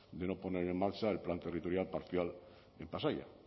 de no poner en marcha el plan territorial parcial en pasaia